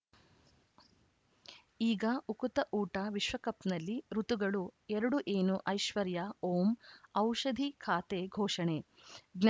ಈಗ ಉಕುತ ಊಟ ವಿಶ್ವಕಪ್‌ನಲ್ಲಿ ಋತುಗಳು ಎರಡು ಏನು ಐಶ್ವರ್ಯಾ ಓಂ ಔಷಧಿ ಖಾತೆ ಘೋಷಣೆ ಜ್ಞಾ